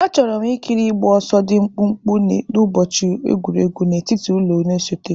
Achọrọ m ikiri ịgba ọsọ dị mkpụmkpụ n'ụbọchị egwuregwu n'etiti ụlọ na-esote.